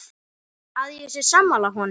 Að ég sé sammála honum.